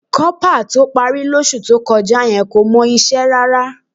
Kọ́pà tó parí lóṣù tó kọjá yẹn kò mọ iṣẹ́ rárá